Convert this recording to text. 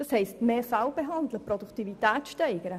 Das heisst, mehr Fälle behandeln und die Produktivität steigern.